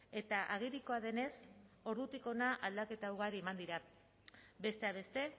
eta agerikoa denez ordutik hona aldaketa ugari eman dira besteak beste